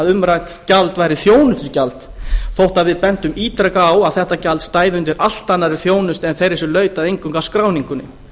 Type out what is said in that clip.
umrætt gjald væri þjónustugjald þótt við bentum ítrekað á að þetta gjald stæði undir allt annarri þjónustu en þeirri sem laut eingöngu að skráningunni